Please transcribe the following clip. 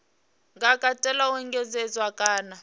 nga katela u engedzedzwa kana